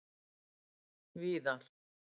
víðar